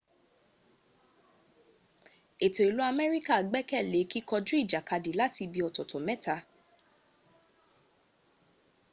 ètò ìlú amerika gbẹ́kẹ̀ lé kíkọjú ìjàkadì láti ibi ọ̀tọ̀tọ̀ mẹ́ta